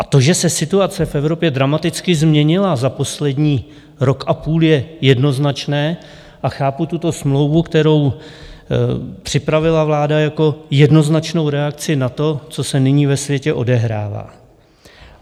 A to, že se situace v Evropě dramaticky změnila za poslední rok a půl, je jednoznačné a chápu tuto smlouvu, kterou připravila vláda, jako jednoznačnou reakci na to, co se nyní ve světě odehrává.